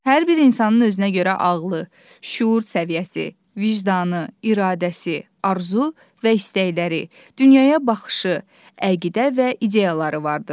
Hər bir insanın özünə görə ağlı, şüur səviyyəsi, vicdanı, iradəsi, arzusu və istəkləri, dünyaya baxışı, əqidə və ideyaları vardır.